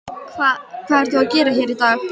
Hvað ert þú að gera hér í dag?